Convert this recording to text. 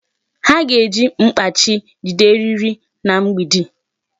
Ha ga-eji mkpachi jide eriri na mgbidi.